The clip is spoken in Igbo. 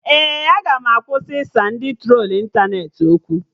Ee, aga m akwụsị ịsa ndị trolu ịntanetị okwu